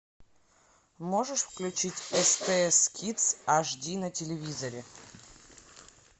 можешь включить стс кидс аш ди на телевизоре